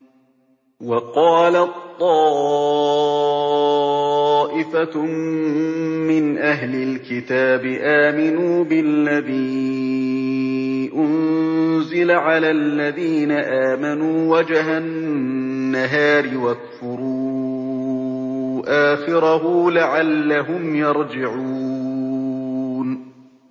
وَقَالَت طَّائِفَةٌ مِّنْ أَهْلِ الْكِتَابِ آمِنُوا بِالَّذِي أُنزِلَ عَلَى الَّذِينَ آمَنُوا وَجْهَ النَّهَارِ وَاكْفُرُوا آخِرَهُ لَعَلَّهُمْ يَرْجِعُونَ